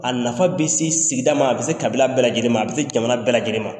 A nafa bɛ se sigida ma a bɛ se kabila bɛɛ lajɛlen ma a bɛ se jamana bɛɛ lajɛlen ma.